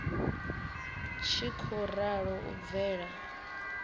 tshi khou ralo u bvela